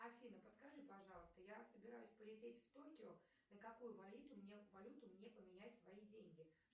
афина подскажи пожалуйста я собираюсь полететь в токио на какую валюту мне поменять свои деньги